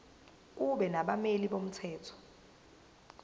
kube nabameli bomthetho